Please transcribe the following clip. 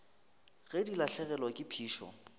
ge di lahlegelwa ke phišo